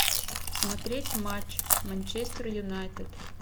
смотреть матч манчестер юнайтед